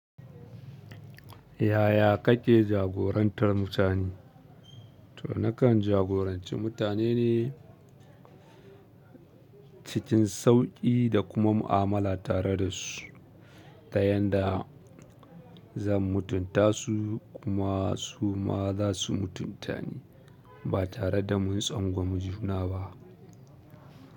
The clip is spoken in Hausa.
Yaya kake jagorantar mutane? To nakan jagoranci mutane ne cikin sauƙi da kuma mu'amala tare da su ta yanda zan mutuntasu kuma suma zasu mutunta ni. Ba tare da mun tsangwami juna ba.